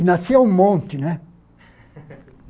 E nasciam um monte, né?